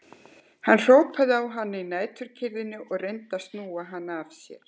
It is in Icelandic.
Hann hrópar á hann í næturkyrrðinni og reynir að snúa hann af sér.